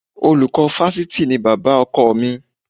Olùkọ́ Fáṣítì ni bàbá ọkọ mi